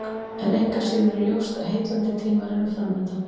En engu að síður er ljóst að heillandi tímar eru framundan.